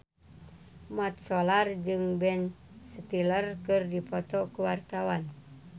Mat Solar jeung Ben Stiller keur dipoto ku wartawan